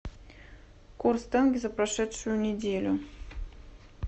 курс тенге за прошедшую неделю